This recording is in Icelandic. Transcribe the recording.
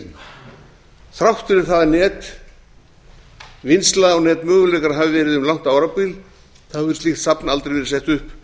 heiminum þrátt fyrir það að netvinnsla og netmöguleikar hafi verið um langt árabil þá hefur slíkt safn aldrei verið sett upp